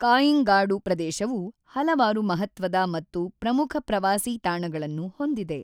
ಕಾಇಂಗಾಡು ಪ್ರದೇಶವು ಹಲವಾರು ಮಹತ್ವದ ಮತ್ತು ಪ್ರಮುಖ ಪ್ರವಾಸಿ ತಾಣಗಳನ್ನು ಹೊಂದಿದೆ.